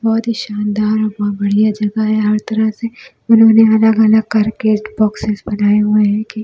बहुत ही शानदार और बहुत बढ़िया जगह है हर तरह से उन्होंने अलग-अलग करके बॉक्सेस बनाए हुए हैं कि--